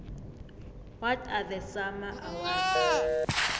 what are the sama awards